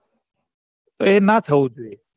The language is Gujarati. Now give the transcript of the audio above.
એ ના થવું જોઈએ